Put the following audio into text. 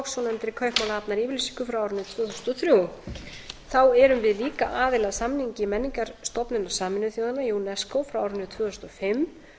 svonefndri kaupmannahafnaryfirlýsingu frá árinu tvö þúsund og þrjú þá erum við líka aðili að samningi menningarstofnun sameinuðu þjóðanna unesco frá árinu tvö þúsund og fimm um